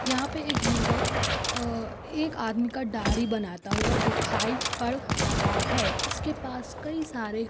यहां पर एक युवक एक आदमी का दाढ़ी बनाता हुआ दिखाई पर रहा है इसके पास कई सारे--